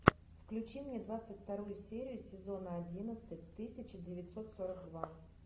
включи мне двадцать вторую серию сезона одиннадцать тысяча девятьсот сорок два